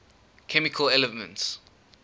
chemical elements